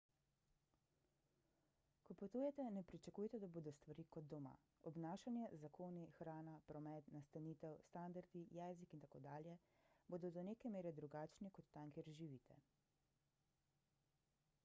ko potujete ne pričakujte da bodo stvari kot doma obnašanje zakoni hrana promet nastanitev standardi jezik in tako dalje bodo do neke mere drugačni kot tam kjer živite